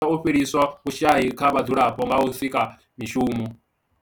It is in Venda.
I dovha ya thusa u fhelisa vhushayi kha vhadzulapo nga u sika mishumo.